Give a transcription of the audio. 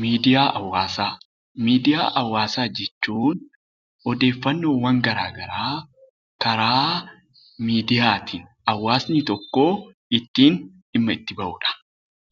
Miidiyaa hawaasaa Miidiyaa hawaasaa jechuun odeeffannoowwan garaagaraa karaa miidiyaatiin hawaasni tokko ittiin dhimma itti ba'uu dha.